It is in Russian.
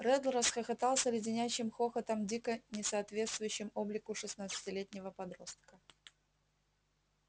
реддл расхохотался леденящим хохотом дико не соответствующим облику шестнадцатилетнего подростка